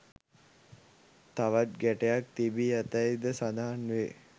තවත් ගැටයක් තිබී ඇතැයි ද සඳහන් වේ